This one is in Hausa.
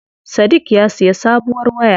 Sadik ya siya sabuwar waya.